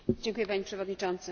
Panie Przewodniczący!